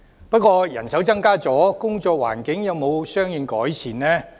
不過人手增加後，工作環境有沒有相應改善？